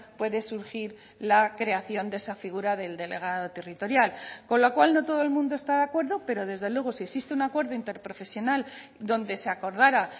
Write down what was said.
puede surgir la creación de esa figura del delegado territorial con lo cual no todo el mundo está de acuerdo pero desde luego si existe un acuerdo interprofesional donde se acordara